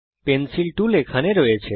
pencil tool এখানে আছে